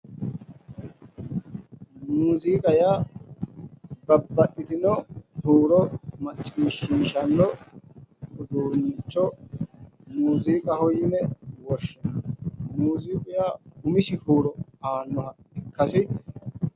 Muuziiqaho yaa babbaxitino huuro maciishshinanni uduunnicho muuziiqaho yinanni muuziiqu umisi horo aannoha ikkanna